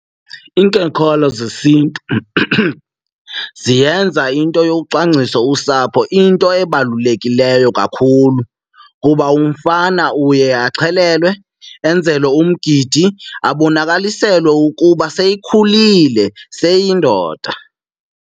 zesiNtu ziyenza into yokucwangcisa usapho into ebalulekileyo kakhulu kuba umfana uye axhelelwe, enzelwe umgidi abonakaliselwe ukuba seyikhulile seyindoda.